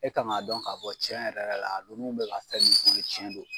E kan k'a dɔn ka fɔ cɛn yɛrɛ yɛrɛ la nunu bɛ ka fɛn mun fɔ in ye cɛn do.